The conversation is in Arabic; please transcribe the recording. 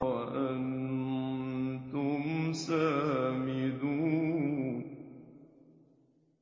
وَأَنتُمْ سَامِدُونَ